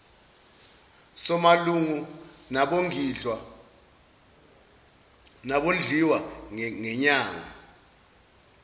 samalungu nabondliwa ngenyanga